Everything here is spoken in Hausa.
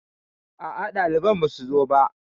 Aa, ɗaliban basu zo ba